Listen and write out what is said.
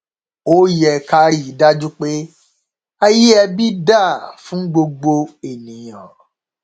a yẹ ká rí i dájú pé ààyè ẹbí dáa fún gbogbo ènìyàn